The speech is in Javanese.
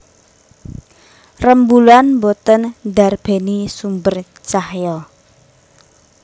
Rembulan boten ndarbéni sumber cahya